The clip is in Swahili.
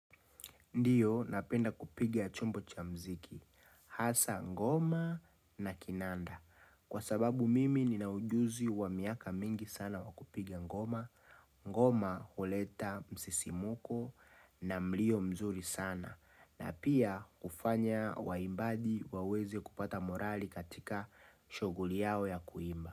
Ndiyo napenda kupiga chombo cha muziki hasa ngoma na kinanda. Kwa sababu mimi ninaujuzi wa miaka mingi sana wakupiga ngoma, ngoma uleta msisimuko na mlio mzuri sana. Na pia ufanya waimbaji waweze kupata morali katika shoguli yao ya kuimba.